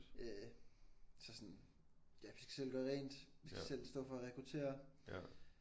Øh så sådan ja vi skal selv gøre rent vi skal selv stå for at rekruttere